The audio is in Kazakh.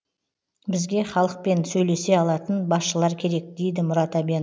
бізге халықпен сөйлесе алатын басшылар керек дейді мұрат әбен